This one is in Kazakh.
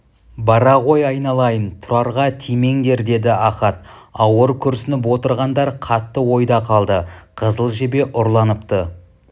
бара ғой айналайын тұрарға тимеңдер деді ахат ауыр күрсініп отырғандар қатты ойда қалды қызыл жебе ұрланыпты